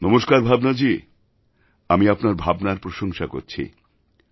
নমস্কার ভাবনাজি আমি আপনার ভাবনার প্রশংসা করছি